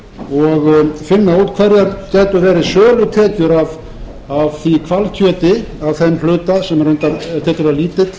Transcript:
og finna út hverjar gætu verið sölutekjur af því hvalkjöti af þeim hluta sem reyndar var lítill